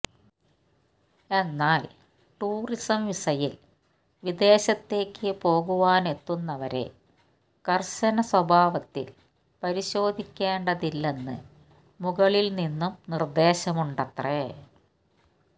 എന്നാല് ടൂറിസം വിസയില് വിദേശത്തേക്ക് പോകുവാനെത്തുന്നവരെ കര്ശനസ്വഭാവത്തില് പരിശോധിക്കേണ്ടതില്ലെന്ന് മുകളില്നിന്നും നിര്ദ്ദേശമുണ്ടത്രേ